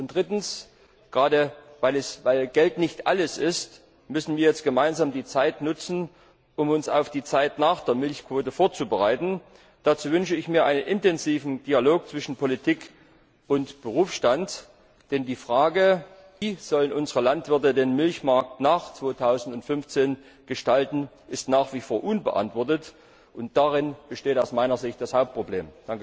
Drittens Gerade weil Geld nicht alles ist, müssen wir jetzt gemeinsam die Zeit nutzen, um uns auf die Zeit nach der Milchquote vorzubereiten. Dazu wünsche ich mir einen intensiven Dialog zwischen Politik und Berufsstand, denn die Frage, wie unsere Milchbauern den Milchmarkt nach 2015 gestalten sollen, ist nach wie vor unbeantwortet, und darin besteht aus meiner Sicht das Hauptproblem.